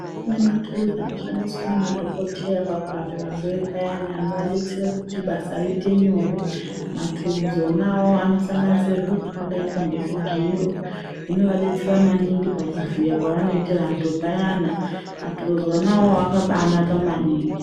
Kune maturuzi anoshandiswa nemadhokodheya pakurapa varwere payani anodetsere kuti basa riite nyore maturuzi ona awawo anosanganisira zviro zvakadai ngezvigero zvinovadetsera maningi pakuvhiya kwavanoite vantu payana, maturuzi ona iwawo akabanaka maningi.